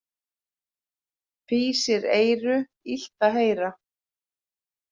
Fýsir eyru illt að heyra.